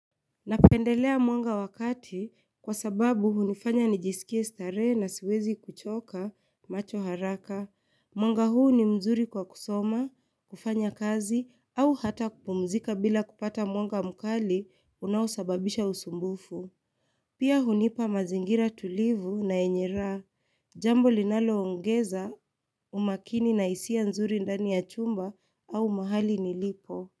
Napendelea mwanga wakati, kwa sababu hunifanya nijisikie starehe na siwezi kuchoka macho haraka. Mwanga huu ni mzuri kwa kusoma, kufanya kazi au hata kupumzika bila kupata mwanga mkali unawasababisha usumbufu. Pia hunipa mazingira tulivu na yenye Jambo linalo ongeza umakini na hisia nzuri ndani ya chumba au mahali nilipo.